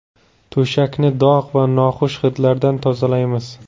To‘shakni dog‘ va noxush hidlardan tozalaymiz.